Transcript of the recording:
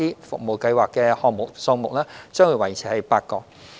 服務計劃的項目數目將維持為8個。